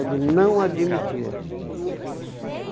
Ele não admitia.